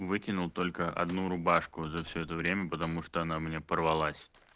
выкинул только одну рубашку за все это время потому что она у меня порвалась